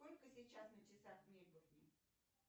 сколько сейчас на часах в мельбурне